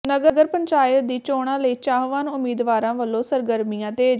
ਨਗਰ ਪੰਚਾਇਤ ਦੀ ਚੋਣਾਂ ਲਈ ਚਾਹਵਾਨ ਉਮੀਦਵਾਰਾਂ ਵਲੋਂ ਸਰਗਰਮੀਆਂ ਤੇਜ਼